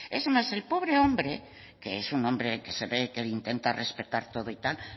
es más el pobre hombre que es un hombre que se ve que intenta respetar todo y tal